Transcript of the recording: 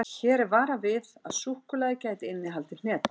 Hér er varað við að súkkulaðið gæti innihaldið hnetur.